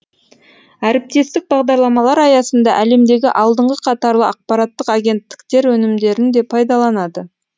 әріптестік бағдарламалар аясында әлемдегі алдыңғы қатарлы ақпараттық агенттіктер өнімдерін де пайдаланады